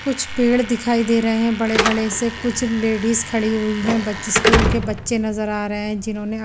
कुछ पेड़ दिखाई दे रहे है बड़े बड़े से कुछ लेडिज खड़ी हुई है बच्चे स्कूल के बच्चे नज़र आ रहे है जिन होने--